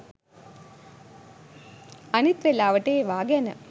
අනිත් වෙලාවට ඒවා ගැන